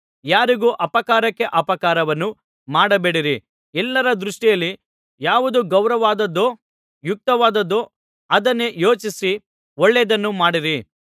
ಯಾರಿಗೂ ಅಪಕಾರಕ್ಕೆ ಅಪಕಾರವನ್ನು ಮಾಡಬೇಡಿರಿ ಎಲ್ಲರ ದೃಷ್ಟಿಯಲ್ಲಿ ಯಾವುದು ಗೌರವವಾದದ್ದೋ ಯುಕ್ತವಾದದ್ದೋ ಅದನ್ನೇ ಯೋಚಿಸಿ ಒಳ್ಳೆಯದನ್ನು ಮಾಡಿರಿ